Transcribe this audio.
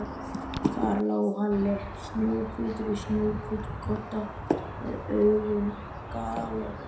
Þar lá Halli, snjóhvítur á snjóhvítum kodda, með augun galopin.